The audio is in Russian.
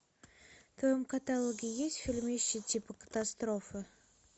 в твоем каталоге есть фильмище типа катастрофы